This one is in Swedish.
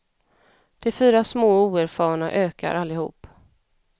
De fyra små och oerfarna ökar allihop.